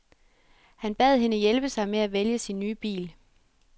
Han bad hende hjælpe sig med at vælge sin nye bil.